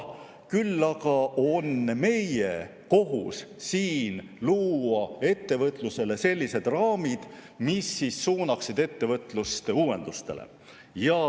Küll aga on meie kohus siin luua ettevõtlusele sellised raamid, mis suunaksid ettevõtlust uuendustele.